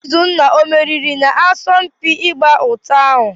Izunna o meriri n'asọmpi ịgba ụta ahụ?